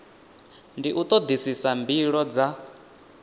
ndi u todisisa mbilo dza